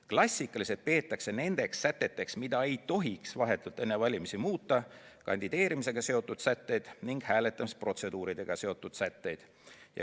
Klassikaliselt peetakse nendeks säteteks, mida ei tohiks vahetult enne valimisi muuta, kandideerimisega seotud sätteid ning hääletamisprotseduuriga seotud sätteid.